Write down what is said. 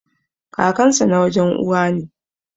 Kakansa na wajen Uwa ne.